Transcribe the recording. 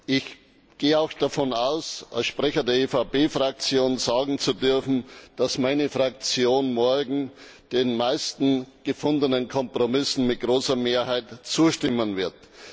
Ich gehe auch davon aus, als Sprecher der EVP Fraktion sagen zu dürfen, dass meine Fraktion morgen den meisten gefundenen Kompromissen mit großer Mehrheit zustimmen wird.